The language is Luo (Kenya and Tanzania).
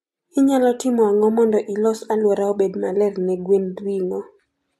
Inyalo timo ang'o mondo ilos aluora obed maler ne gwend ringo?